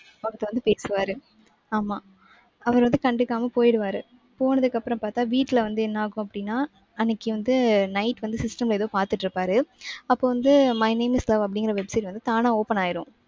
அவர்ட்ட வந்து பேசுவாரு. ஆமா. அவர் வந்து கண்டுக்காம போயிருவாரு. போனதுக்கு அப்புறம் பாத்தா வீட்டுல வந்து என்ன ஆகும் அப்படின்னா அன்னைக்கு வந்து night வந்து system ல ஏதோ பாத்துட்டிருப்பாரு. அப்போ வந்து my name is love அப்படிங்கிற website வந்து தானா open ஆயிரும்.